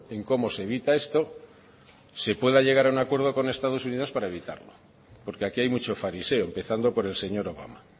en cómo se evita esto se pueda llegar a un acuerdo con estados unidos para evitarlo porque aquí hay mucho fariseo empezando por el señor obama